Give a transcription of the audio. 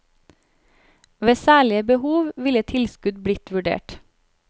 Ved særlige behov ville tilskudd blitt vurdert.